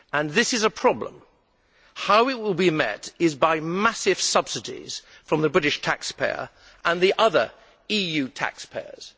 This is a problem how it will be met is by massive subsidies from the British taxpayer and the other EU taxpayers.